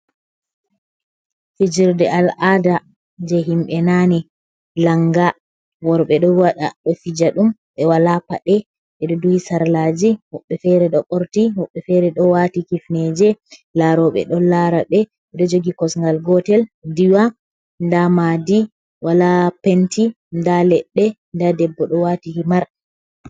fijerde al'ada je himbe nani langa worɓe ɗo waɗa ɗo fija ɗum ɓe wala paɗe beɗo duhi sarlaji huɓbe fere do borti muɓe fere ɗo wati kifneje laroɓe ɗon lara ɓe ɓeɗo jogi kosgal gotel diwa da madi wala penti da ledde da debbo ɗo wati himar